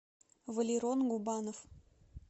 валерон губанов